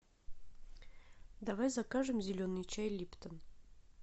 давай закажем зеленый чай липтон